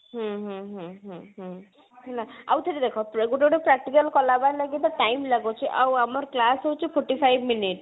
ହୁଁ ହୁଁ ହୁଁ ହୁଁ ହୁଁ ହୁଁ ଆଉ ଥରେ ଦେଖ ଗୋଟେ ଗୋଟେ practical କଲା ମାନେ ବି time ଲାଗୁଛି ଆଉ ଆମର class ହଉଛି forty five minute